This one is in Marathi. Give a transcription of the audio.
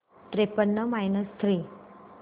त्रेपन्न मायनस थ्री